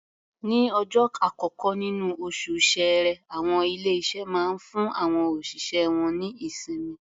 Ní ọjọ́ àkọ́kọ́ níní oṣù Ṣẹẹrẹ, àwọn ilé-iṣé máa ń fún àwọn òṣìṣẹ́ wọ́n ní ìsinmi.